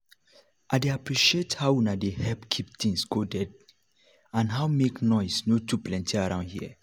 i dey appreciate how una dey help keep things codely and how make noise no too plenty around here.